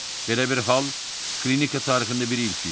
Belə bir hal klinika tarixində bir ilk idi.